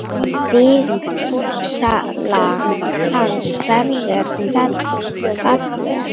Vígsla hans verður falleg.